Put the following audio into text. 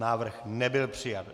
Návrh nebyl přijat.